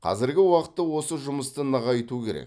қазіргі уақытта осы жұмысты нығайту керек